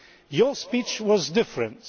Your speech was different.